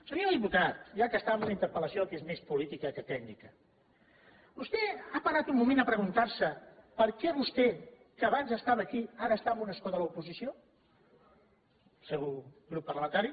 senyor diputat ja que està en una interpel·lació que és més política que tècnica vostè ha parat un moment a preguntar se per què vostè que abans estava aquí ara està en un escó de l’oposició el seu grup parlamentari